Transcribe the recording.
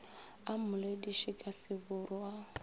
a mmolediše ka seburu a